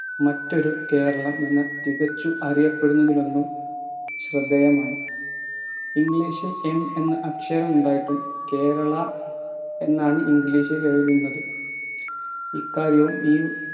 മറ്റൊരു കേരളം എന്ന തികച്ചു അറിയപ്പെടുന്നതിൽ ഒന്നും ശ്രദ്ധേയമാണ് english ൽ M എന്ന അക്ഷരമുണ്ടായിട്ടും കേരള എന്നാണ് English ലെഴുതുന്നത് ഇക്കാര്യവും ഈ